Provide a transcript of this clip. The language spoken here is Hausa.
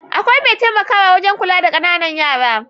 Akwai mai taimakawa wajan kula da ƙanana yara